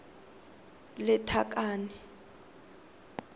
lethakane